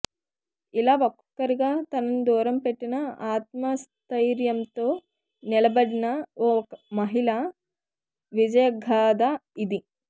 ఇలా ఒక్కొక్కరిగా తనను దూరం పెట్టినా ఆత్మస్థయిర్యంతో నిలబడిన ఓ మహిళ విజయగాథ ఇది